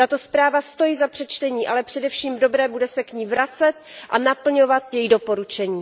Tato zpráva stojí za přečtení, ale především dobré bude se k ní vracet a naplňovat její doporučení.